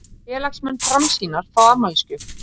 Félagsmenn Framsýnar fá afmælisgjöf